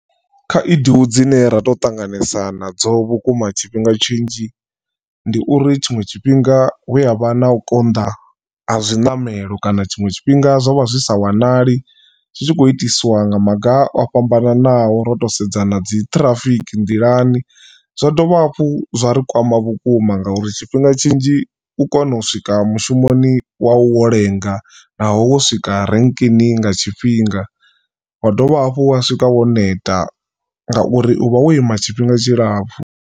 Khaedu dzine ra tou ṱanganesa nadzo vhukuma tshifhinga tshinzhi ndi uri tshiṅwe tshifhinga hu avha na u konḓa ha zwiṋamelo kana tshiṅwe tshifhinga zwa vha zwi sa wanali zwitshi kho itiswa nga maga o fhambananaho ro to sedza na dzi ṱhirafiki nḓilani. Zwa dovha hafhu zwa ri kwama vhukuma ngauri tshifhinga tshinzhi u kona u swika mushumoni wa u wo lenga naho wo swika renkeni nga tshifhinga wa dovha hafhu wa swika wo neta ngauri u vha wo ima tshifhinga tshilapfhu.